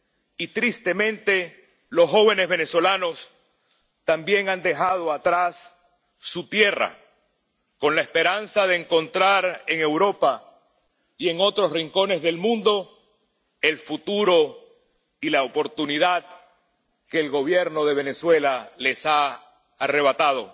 Y, tristemente, los jóvenes venezolanos también han dejado atrás su tierra con la esperanza de encontrar en Europa, y en otros rincones del mundo, el futuro y la oportunidad que el Gobierno de Venezuela les ha arrebatado.